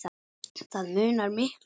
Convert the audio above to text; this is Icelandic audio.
Það munar miklu.